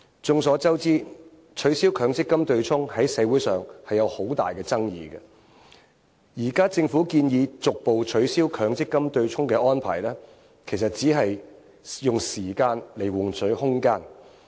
眾所周知，取消強積金對沖在社會上有很大爭議，現在政府建議逐步取消強積金對沖的安排，其實只是用時間換取空間。